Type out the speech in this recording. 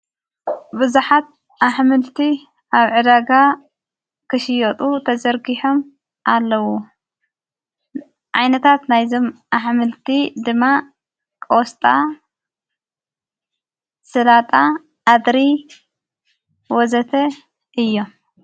ብዙኃት ኣሕምልቲ ኣብ ዕዳጋ ክሽየጡ ተዘርጊሖም ኣለዉ ዓይነታት ናይ ዘም ኣሕምልቲ ድማ ቆስጣ ሥላጣ ኣድሪ ወዘተ እዮ::